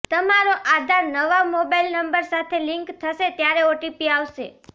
તમારો આધાર નવા mobile number સાથે લિંક થશે ત્યારે ઓટીપી આવશે